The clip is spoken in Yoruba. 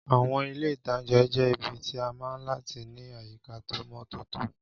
Àwọn ilé-ìtánjẹ jẹ́ ibi tí a mọ̀ láti ní àyíká tó mọ́ tótó